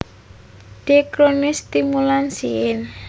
Dendrocnide stimulans syn